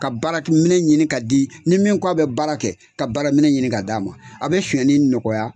Ka baarakɛminɛ ɲini ka di ni min k'a bɛ baara kɛ , ka baarakɛminɛ ɲini ka di a ma, a bɛ sonyali nɔgɔya.